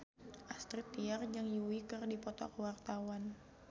Astrid Tiar jeung Yui keur dipoto ku wartawan